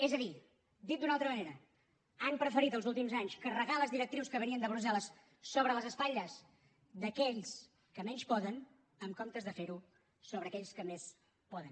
és a dir dit d’una altra manera han preferit els últims anys carregar les directrius que venien de brussel·les sobre les espatlles d’aquells que menys poden en comptes de fer ho sobre aquells que més poden